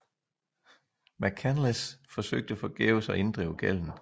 McCanless forsøgte forgæves at inddrive gælden